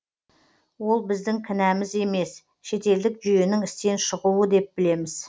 ол біздің кінәміз емес шетелдік жүйенің істен шығуы деп білеміз